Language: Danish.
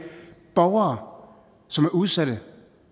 borgere som er udsatte